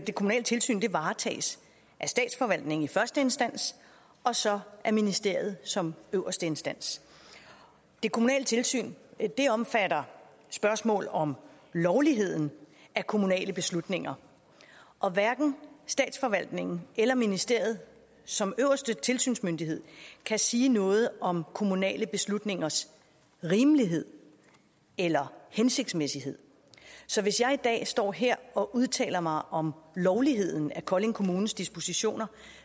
kommunale tilsyn varetages af statsforvaltningen i første instans og så af ministeriet som øverste instans det kommunale tilsyn omfatter spørgsmål om lovligheden af kommunale beslutninger og hverken statsforvaltningen eller ministeriet som øverste tilsynsmyndighed kan sige noget om kommunale beslutningers rimelighed eller hensigtsmæssighed så hvis jeg i dag står her og udtaler mig om lovligheden af kolding kommunes dispositioner